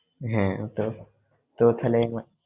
হ্যাঁ ওতো তো থালেমা